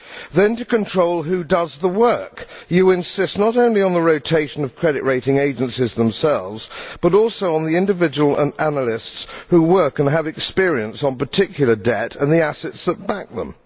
Then, to control who does the work, you insist not only on the rotation of credit rating agencies themselves, but also on the individual analysts who work and have experience on particular debt and the assets that back them.